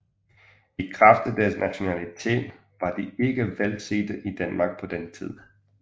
I kraft af deres nationalitet var de ikke velsete i Danmark på den tid